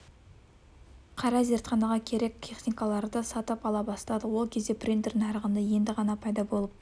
қарай зертханаға керек техникаларды сатып ала бастадық ол кезде принтер нарығында енді ғана пайда болып